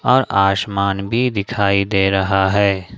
और आसमान भी दिखाई दे रहा है।